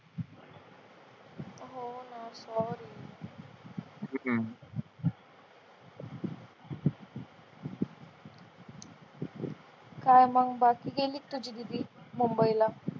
होणा sorry काय मग बाकी गेली का तुझी दीदी मुंबईला?